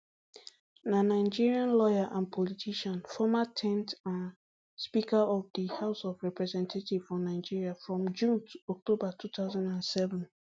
na nigerian lawyer and politician former ten th um speaker of di house of representatives for nigeria from june to october two thousand and seven